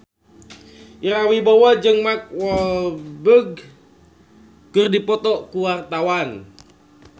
Ira Wibowo jeung Mark Walberg keur dipoto ku wartawan